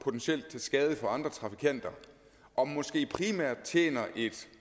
skade for andre trafikanter og måske primært tjener